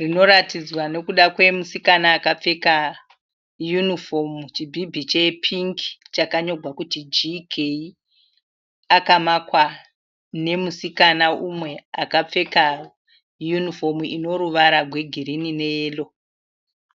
rinoratidzwa nekuda kwe musikana akapfeka 'uniform' chibhibhi che pink chakanyorwa kuti GK akamakwa nemusikana mumwe akapfeka 'uniform' ine ruvara rwe girinhi neyero.